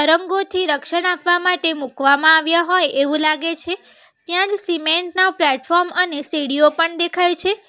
રંગોથી રક્ષણ આપવા માટે મૂકવામાં આવ્યા હોય એવું લાગે છે ત્યાં જ સિમેન્ટ ના પ્લેટફોર્મ અને સીડીઓ પણ દેખાય છે.